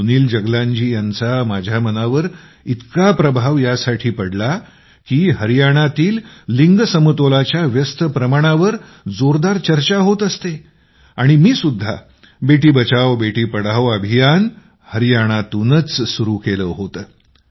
सुनील जगलानजी यांचा माझ्या मनावर इतका प्रभाव यासाठी पडला की हरियाणातील लिंगगुणोत्तराच्या व्यस्त प्रमाणावर जोरदार चर्चा होत असते आणि मी सुद्धा बेटी बचाओबेटी पढाओ अभियान हरियाणातूनच सुरू केलं होतं